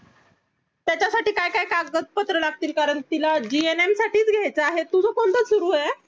काय कागदपत्र लागतील कारण तिला gum साठीच घ्यायचं आहे तुझं कोणतं सुरु ये